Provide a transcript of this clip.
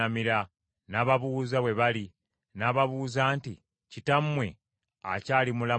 N’ababuuza bwe bali, n’ababuuza nti, “Kitammwe akyali mulamu bulungi?”